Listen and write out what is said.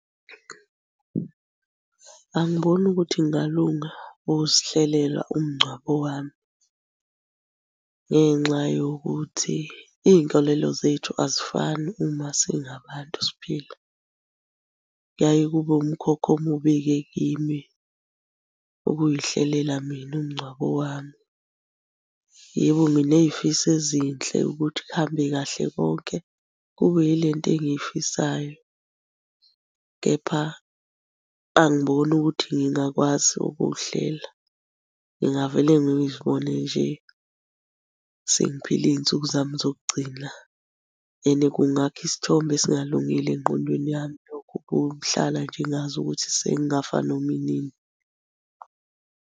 Angiboni ukuthi kungalunga ukuzihlelela umngcwabo wami ngenxa yokuthi iy'nkolelo zethu azifani uma singabantu siphila. Kuyaye kube umkhokha omubi-ke kimi ukuy'hlelela mina umngcwabo wami. Yebo, nginey'fiso ezinhle ukuthi kuhambe kahle konke kube yile nto engiyifihlayo, kepha angiboni ukuthi ngingakwazi ukuhlela. Ngingavele ngizibone nje sengiphila iy'nsuku zami zokugcina and kungakha isithombe esingalungile engqondweni yami lokho ukuhlala nje ngazi ukuthi sengingafa noma inini.